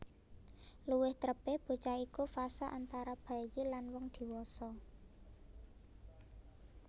Luwih trepé bocah iku fase antara bayi lan wong diwasa